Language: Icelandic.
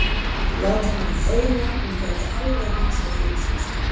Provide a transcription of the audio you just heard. Láta hana heyra að hún gæti alveg hugsað fyrir sig sjálf.